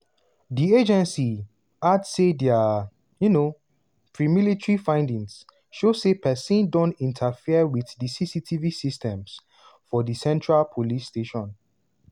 di agency add say dia um premilitary findings show say pesin don interfere wit di cctv systems for di central police station.